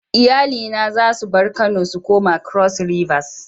Iyali na za su bar Kano su koma cross rivers.